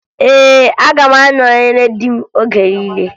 Ee, aga m anọnyere di m oge niile